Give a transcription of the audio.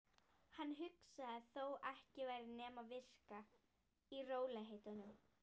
Hann hugsaði: Þó ekki væri nema vika. í rólegheitum.